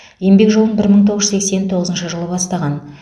еңбек жолын бір мың тоғыз жүз сексен тоғызыншы жылы бастаған